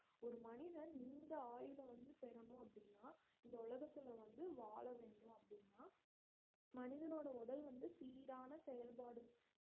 ஒரு மனிதன் நீண்ட ஆயுள வந்து பெறனும் அப்படின்னா இந்த உலகத்துல வந்து வாழ வேண்டும் அப்படின்னா மனிதனோட உடல் வந்து சீரான செயல்பாடு